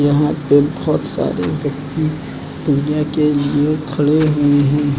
यहां पे बहुत सारे व्यक्ति के लिए खड़े हुए हैं।